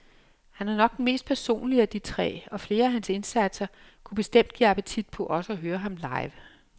Han er nok den mest personlige af de tre, og flere af hans indsatser kunne bestemt give appetit på også at høre ham live.